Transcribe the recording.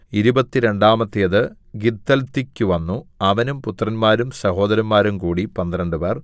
ഇരുപത്തിരണ്ടാമത്തേത് ഗിദ്ദൽതിക്കു വന്നു അവനും പുത്രന്മാരും സഹോദരന്മാരും കൂടി പന്ത്രണ്ടുപേർ